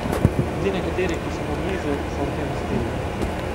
A ti nekateri, ki so mu blizu, so v tem uspeli.